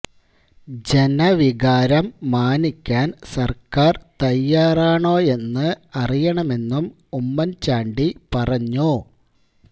ജനവികാരം മാനിക്കാന് സര്ക്കാര് തയ്യാറാണോയെന്ന് അറിയണമെന്നും ഉമ്മന് ചാണ്ടി പറഞ്ഞു